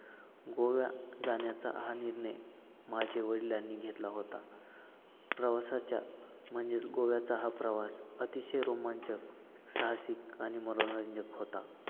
गोवा जाण्याचा हा निर्णय माझ्या वडिलांनी घेतला होता. प्रवासाच्या म्हणजे गोव्याचा हा प्रवास अतिशय रोमांचक, साहसिक आणि मनोरंजक होता.